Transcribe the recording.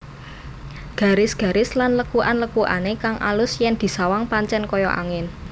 Garis garis lan lekukan lekukane kang alus yen disawang pancen kaya angin